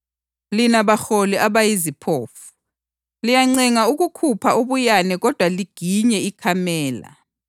Lina baholi abayiziphofu! Liyacenga ukukhupha ubuyane kodwa liginye ikamela.